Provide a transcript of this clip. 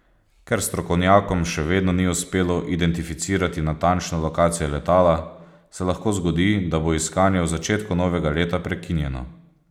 Ker strokovnjakom še vedno ni uspelo identificirati natančne lokacije letala, se lahko zgodi, da bo iskanje v začetku novega leta prekinjeno.